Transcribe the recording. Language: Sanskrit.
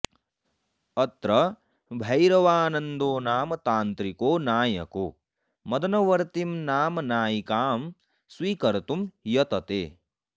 अत्र भैरवानन्दो नाम तान्त्रिको नायको मदनवर्तीं नाम नायिकां स्वीकर्तुं यतते